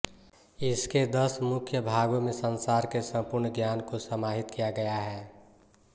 इसके दस मुख्य भागों में संसार के संपूर्ण ज्ञान को समाहित किया गया है